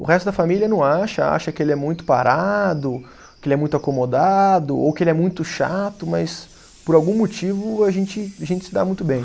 O resto da família não acha, acha que ele é muito parado, que ele é muito acomodado, ou que ele é muito chato, mas por algum motivo a gente gente se dá muito bem.